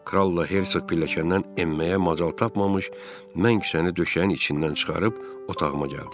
Kralla Herçoq pilləkəndən enməyə macal tapmamış, mən kisəni döşəyin içindən çıxarıb otağıma gəldim.